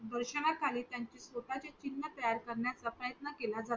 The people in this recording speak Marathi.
निदर्शना खाली त्याचा स्वतःचा चिन्ह तयार करण्याचा प्रयत्न केला जातो